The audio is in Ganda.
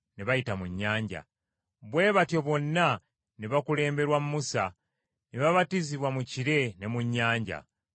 bwe batyo bonna ne bakulemberwa Musa ne babatizibwa mu kire ne mu nnyanja.